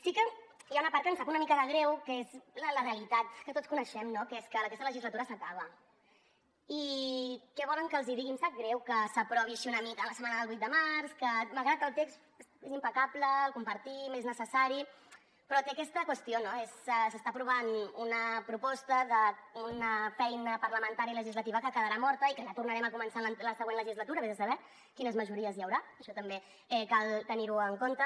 sí que hi ha una part que em sap una mica de greu que és la realitat que tots coneixem no que és que aquesta legislatura s’acaba i què volen que els digui em sap greu que s’aprovi així una mica en la setmana del vuit de març que malgrat que el text és impecable el compartim és necessari però té aquesta qüestió no s’està aprovant una proposta d’una feina parlamentària i legislativa que quedarà morta i que ja tornarem a començar a la següent legislatura ves a saber quines majories hi haurà que això també cal tenir ho en compte